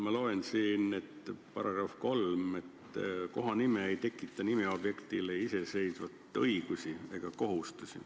Ma loen siin, et § 3 järgi ei tekita kohanimi nimeobjektile iseseisvaid õigusi ega kohustusi.